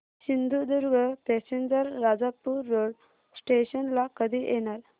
Sindhudurg passenger Rajapur road station ला कधी येणार